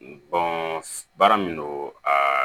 baara min don aa